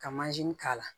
Ka k'a la